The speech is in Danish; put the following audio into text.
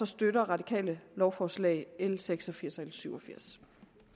støtter radikale lovforslagene l seks og firs og l syvogfirsende